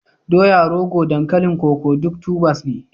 doya, rogo, dankalin koko duk tubers ne